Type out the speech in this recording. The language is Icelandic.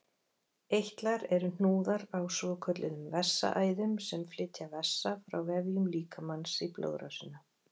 Eitlar eru hnúðar á svokölluðum vessaæðum sem flytja vessa frá vefjum líkamans í blóðrásina.